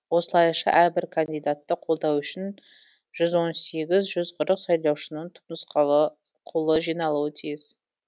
осылайша әрбір кандидатты қолдау үшін жүз он сегіз жүз қырық сайлаушының түпнұсқалы қолы жиналуы тиіс